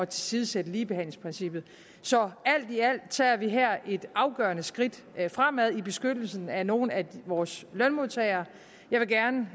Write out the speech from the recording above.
tilsidesætte ligebehandlingsprincippet så alt i alt tager vi her et afgørende skridt fremad i beskyttelsen af nogle af vores lønmodtagere jeg vil gerne